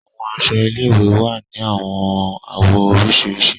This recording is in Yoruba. Àwọn aṣọ ilé-ìwé wà ni awọn awọ oriṣiriṣi.